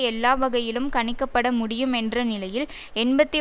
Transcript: எல்லாவகையிலும் கணிக்கப்பட முடியும் என்ற நிலையில் எண்பத்தி